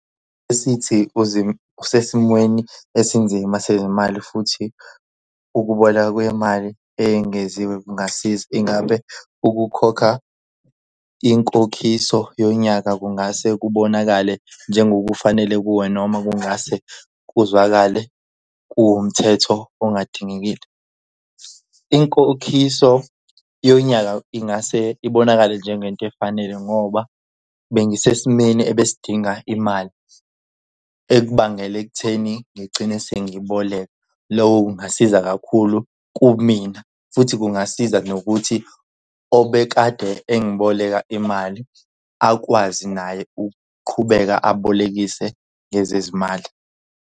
Esithi usesimweni esinzima sezimali futhi ukuboleka kwemali eyengeziwe kungasiza. Ingabe ukukhokha inkokhiso yonyaka kungase kubonakale njengokufanele kuwe, noma kungase kuzwakale kuwumthetho okungadingekile? Inkokhiso yonyaka ingase ibonakale njengento efanele ngoba bengisesimeni ebesidinga imali ekubangela ekutheni ngigcine sengibholeka. Lokho kungasiza kakhulu kumina futhi kungasiza nokuthi obekade engiboleka imali akwazi naye ukuqhubeka abolekise ngezezimali.